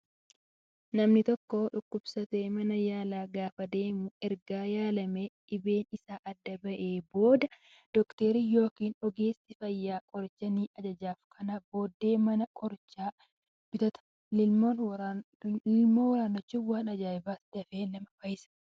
Namni tokko dhukkubsatee mana yaalaa gaafa deemu erga yaalamee dhibeen isaa adda bahee booddee doktarri yookaan ogeessi fayyaa qoricha ni ajajaaf. Kanas bahee mana qorichaa bitata. Lilmoo waraannachuun waan ajaa'ibatti dfee nama fayyisudha.